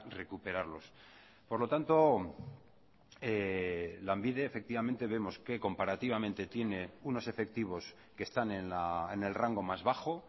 recuperarlos por lo tanto lanbide efectivamente vemos que comparativamente tiene unos efectivos que están en el rango más bajo